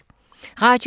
Radio 4